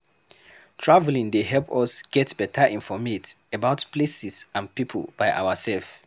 Travelling dey help us get better informate about places and people by ourself